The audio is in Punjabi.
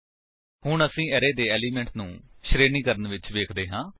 ਹੁਣ ਅਸੀਂ ਅਰੇ ਦੇ ਏਲਿਮੇਂਟਸ ਨੂੰ ਸ਼ਰੇਣੀਕਰਣ ਵਿੱਚ ਵੇਖਦੇ ਹਾਂ